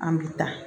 An bi taa